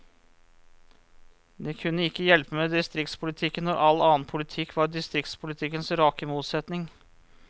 Det kunne ikke hjelpe med distriktspolitikken, når all annen politikk var distriktspolitikkens rake motsetning.